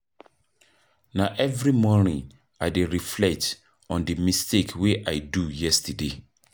Na every morning I dey reflect on di mistake wey I do yesterday.